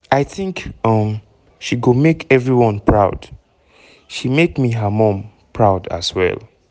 "i think um she go make everyone proud - she make her mum proud as well."